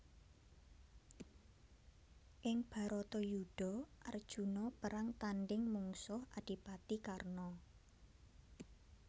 Ing Bharatayudha Arjuna perang tandhing mungsuh Adipati Karna